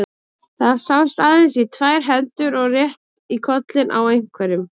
Það sást aðeins í tvær hendur og rétt í kollinn á einhverjum.